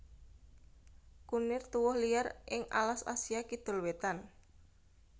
Kunir tuwuh liar ing alas Asia Kidul wétan